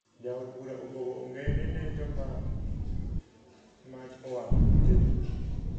Jaod bura opogo ongede ne joma mach owang`o utegi